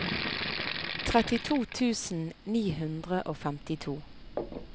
trettito tusen ni hundre og femtito